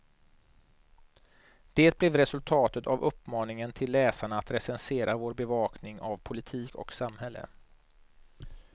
Det blev resultatet av uppmaningen till läsarna att recensera vår bevakning av politik och samhälle.